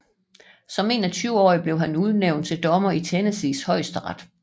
Som 21 årig blev han udnævnt til dommer i Tennessees Højesteret